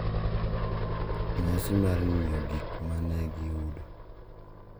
E nyasi mar ng’iyo gik ma ne giyudo